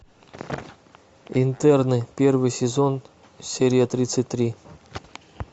интерны первый сезон серия тридцать три